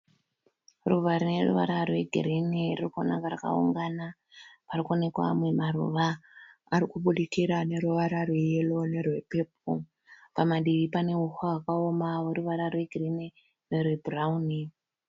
Ruva rineruvara rwegirini ririkuonekwa rakaungana. Parikuonekwa amwe maruva arikubudikira aneruvara rweyero nerwepepoo. Padivi paneuswa hwakaoma hweruvara rwegirini nerwebhurauni.